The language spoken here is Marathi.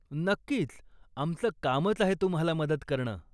नक्कीच, आमचं कामच आहे तुम्हाला मदत करणं.